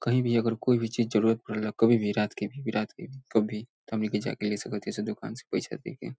कही भी अगर कोई भी चीज जरूत पड़ेला कभी भी रात के भी बिरात के भी कभी त हमनी के जाके ले सकत ह ई दूकान से पईसा दे के।